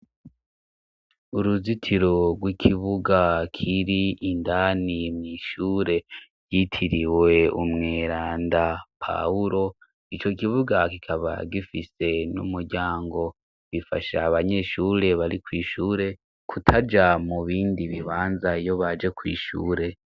Uruzitiro rw'ikibuga kiri indani mw'ishure yitiriwe umwera nda pahulo i co kibuga kikaba gifise n'umuryango, bifasha abanyeshure bari kw'ishure kutaja mu bindi bibanza iyo baje kw'ishure.